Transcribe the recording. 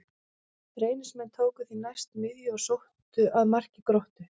Reynismenn tóku því næst miðju og sóttu að marki Gróttu.